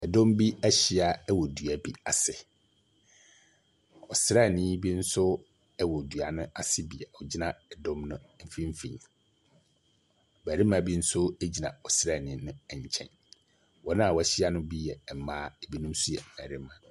Dɔm bi ahyia wɔ dua bi ase. Ɔsraani bi nso wɔ dua no ase bi a ɔgyina dɔm no mfimfini. Barima bi nso gyina ɔsraani no nkyɛn. Wɔn a wɔahyia no bi yɛ mmaa, binom nso yɛ barima.